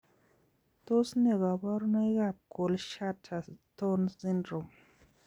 Tos ne kaborunoik ab kohlschutter tonz syndrome